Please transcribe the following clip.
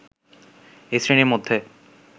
এই শ্রেণীর মধ্যে